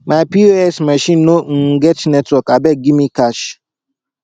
my pos machine no um get network abeg give me cash